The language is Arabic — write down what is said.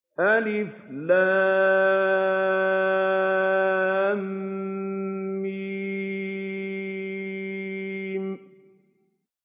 الم